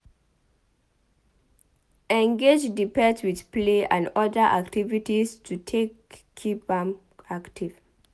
Engage di pet with play and oda activities to take keep am active